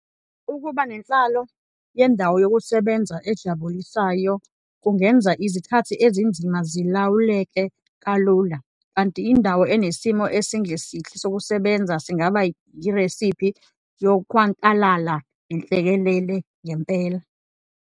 Ukuba nenhlalo yendawo yokusebenza ejabulisayo kungenza izikhathi ezinzima zilawuleke kalula kanti indawo enesimo esingesihle sokusebenza singaba yiresiphi yokhwantalala nenhlekelele ngempela.